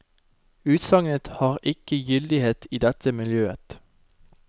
Utsagnet har ikke gyldighet i dette miljøet.